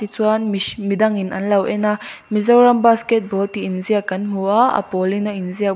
chuan mihr midangin an lo en a Mizoram basketball tih inziak kan hmu a a pawlin a inziak bawk.